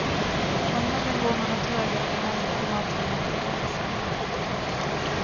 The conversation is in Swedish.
Från hallen går man åt höger eller vänster till matrummet eller vardagsrummet.